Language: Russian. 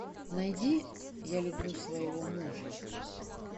найди я люблю своего мужа